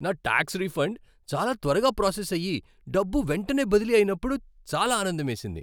నా tax refund చాలా త్వరగా ప్రాసెస్ అయి, డబ్బు వెంటనే బదిలీ అయినప్పుడు చాలా ఆనందమేసింది.